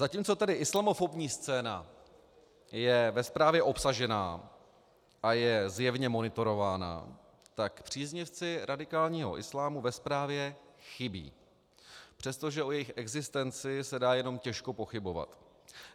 Zatímco tedy islamofobní scéna je ve zprávě obsažena a je zjevně monitorována, tak příznivci radikálního islámu ve zprávě chybí, přestože o jejich existenci se dá jenom těžko pochybovat.